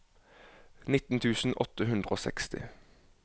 nitten tusen åtte hundre og seksti